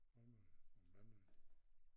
Rømø og Mandø